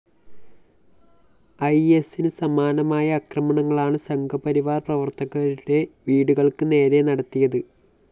ഐഎസിന് സമാനമായ അക്രമങ്ങളാണ് സംഘപരിവാര്‍ പ്രവര്‍ത്തകരുടെ വീടുകള്‍ക്ക് നേരെ നടത്തിയത്